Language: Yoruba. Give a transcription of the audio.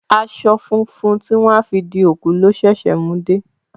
Aṣọ funfun tí wọ́n á fi di òkú lọ ṣẹ̀ṣẹ̀ mú dé